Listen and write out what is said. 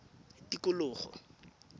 tikologo